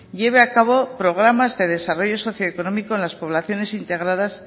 lleve a cabo programas de desarrollo socio económico en las poblaciones integradas